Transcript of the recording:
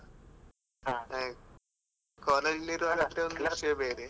ಹಾ. college ಲಿ ಇರುವಾಗ ಅಂತು ವಿಷ್ಯ ಬೇರೆ.